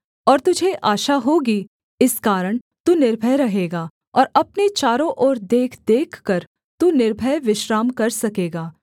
और तुझे आशा होगी इस कारण तू निर्भय रहेगा और अपने चारों ओर देख देखकर तू निर्भय विश्राम कर सकेगा